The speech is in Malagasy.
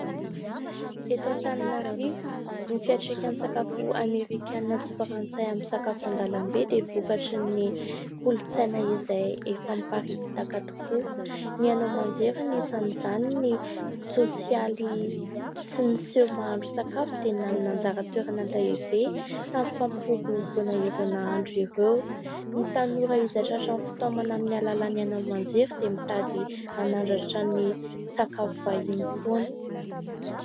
Eto Antananarivo, ny fiantraikan'ny sakafo amerikanina sy frantsay amin'ny sakafo an-dalambe dia vokatry ny kolontsaina izay efa miparitaka tokoa. Ny haino aman-jery, anisan'izany ny sosialy sy ny seho mahandro sakafo dia nanana anjara toerana lehibe tamin'ny fampiroboroboana ireo nahandro ireo. Ny tanora izay tratran'ny fitaomana amin'ny alalan'ny haino aman-jery dia mitady hanandratra ny sakafo vahiny foana.